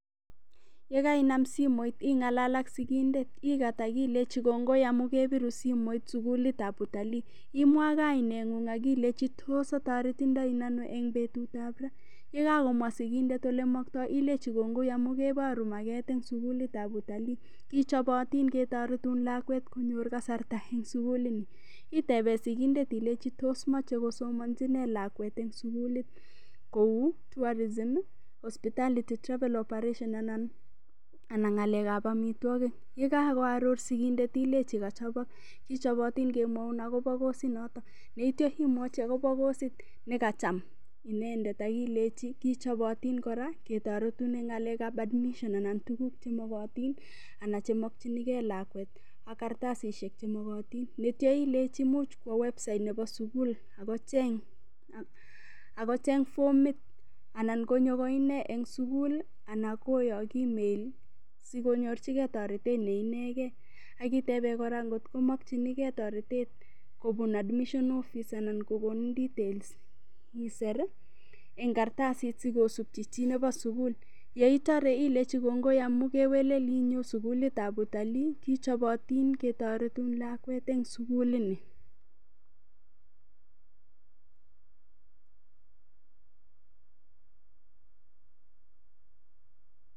Yekainam simoit ing'alal ak sikindet ikat akilechi kongoi amun kebiru simoit sukulitab utalii imwa kaineng'ung akileche tos atarititoen ano eng' betutab ra yekakomwa sikindet ole maktoi ilechi kongoi amun keboru maket eng' sukulitab utalii kichobotin ketoretun lakwet konyor kasarta eng' sukulini itebe sikindet ilechi tos mochei kosomonchi ne lakwet eng' sukulit kou tourism hospitality travel operation anan ng'alekab omitwokik ye kakoaror sikindet ilechi kachobok kichobotin kemwoun akobo kosit noto yeityo imwochi akobo kosit nekacham inendet akimwochi ilechi kichobotin kora ketoretun eng ng'alekab admission anan tukuk chemokotin anan chemokchinigei lakwet ak kartasisyek chemokotin yeityo ilechi much kowo website nebo sukul akocheng' fomit anan konyo ko ine eng' sukul ana koyok email sikonyorchigei toretet neinegei akitebe kora ngotkomokchinigei toretet kobun admission office anan konin details iser eng' karatasit sikosupchi chi nebo sukul yeitorw ilechi kongoi amu kewelel inyo sukulitab utalii kichobotin ketoretun lakwet eng'sukulini.